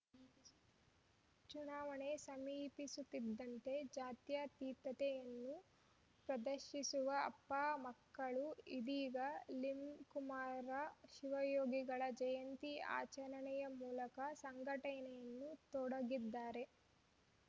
ಚು ಚುನಾವಣೆ ಸಮೀಪಿಸುತ್ತಿದ್ದಂತೆ ಜಾತ್ಯತೀತತೆಯನ್ನು ಪದರ್ಶಿಸುವ ಅಪ್ಪ ಮಕ್ಕಳು ಇದೀಗ ಲಿಂಕುಮಾರ ಶಿವಯೋಗಿಗಳ ಜಯಂತಿ ಆಚರಣೆಯ ಮೂಲಕ ಸಂಘಟನೆಯನ್ನು ತೊಡಗಿದ್ದಾರೆ